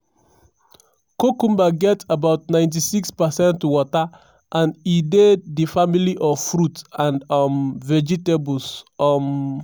cucumber get about 96 percent water and e dey di family of fruit and um vegetables. um